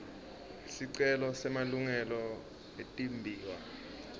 sicelo semalungelo etimbiwa